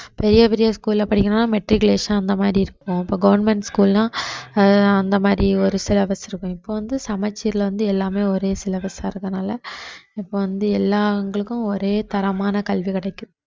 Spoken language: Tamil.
பெரிய பெரிய school ல படிக்கணும் matriculation அந்த மாதிரி இருக்கும் இப்ப government school லாம் அஹ் அந்த மாதிரி ஒரு syllabus இருக்கும் இப்ப வந்து சமச்சீர்ல வந்து எல்லாமே ஒரே syllabus ஆ இருக்கறதுனால இப்ப வந்து எல்லா ஒரே தரமான கல்வி கிடைக்கும்